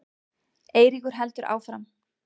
Eiríkur heldur áfram.